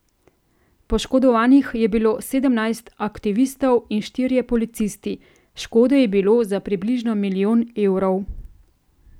Poškodovanih je bilo sedemnajst aktivistov in štirje policisti, škode je bilo za približno milijon evrov.